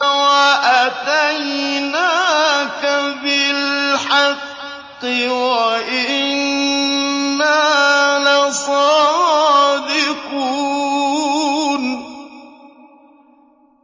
وَأَتَيْنَاكَ بِالْحَقِّ وَإِنَّا لَصَادِقُونَ